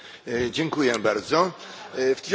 W 1918 r.